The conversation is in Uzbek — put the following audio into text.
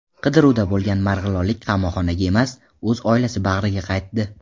Qidiruvda bo‘lgan marg‘ilonlik qamoqxonaga emas, o‘z oilasi bag‘riga qaytdi.